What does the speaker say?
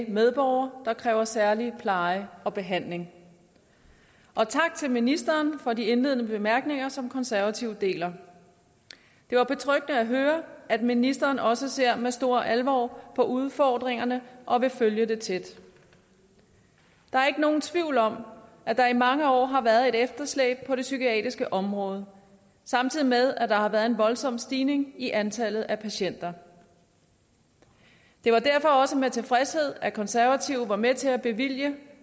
medborgere der kræver særlig pleje og behandling og tak til ministeren for de indledende bemærkninger som konservative deler det var betryggende at høre at ministeren også ser med stor alvor på udfordringerne og vil følge det tæt der er ikke nogen tvivl om at der i mange år har været et efterslæb på det psykiatriske område samtidig med at der har været en voldsom stigning i antallet af patienter det var derfor også med tilfredshed at konservative var med til at bevilge